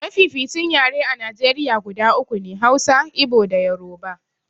Mafificin yare a Najeriya guda uku ne, Hausa, Igbo da Yoruba.